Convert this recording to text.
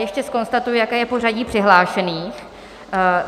Ještě zkonstatuji, jaké je pořadí přihlášených.